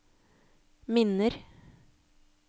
minner